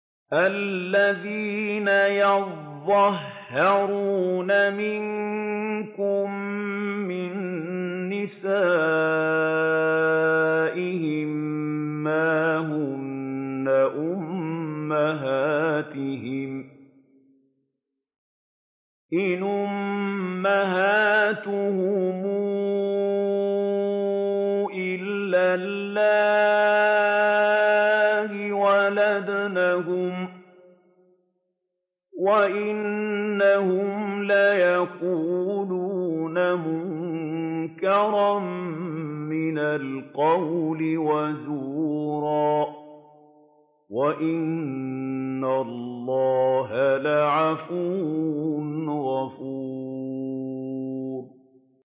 الَّذِينَ يُظَاهِرُونَ مِنكُم مِّن نِّسَائِهِم مَّا هُنَّ أُمَّهَاتِهِمْ ۖ إِنْ أُمَّهَاتُهُمْ إِلَّا اللَّائِي وَلَدْنَهُمْ ۚ وَإِنَّهُمْ لَيَقُولُونَ مُنكَرًا مِّنَ الْقَوْلِ وَزُورًا ۚ وَإِنَّ اللَّهَ لَعَفُوٌّ غَفُورٌ